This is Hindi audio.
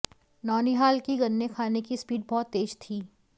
नौनिहाल की गन्ने खाने की स्पीड बहुत तेज थी